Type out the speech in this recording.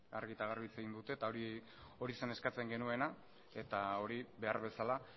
argi eta garbi hitz egin dute eta hori zen eskatzen genuena eta hori behar bezala